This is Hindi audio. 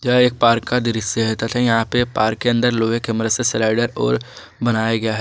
यह एक पार्क का दृश्य है तथा यहां पे पार्क के अंदर लोहे के मृसरसर स्लाइडर और बनाया गया है।